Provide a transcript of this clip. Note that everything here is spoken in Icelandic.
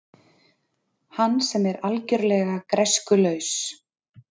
Hann sem er algjörlega græskulaus.